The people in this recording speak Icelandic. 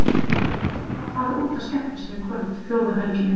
Hún er sjálf að fara út að skemmta sér í kvöld, fjórðu helgina í röð.